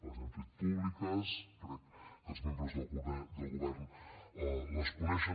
les hem fets públiques crec que els membres del govern les coneixen